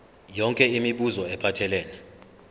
yonke imibuzo ephathelene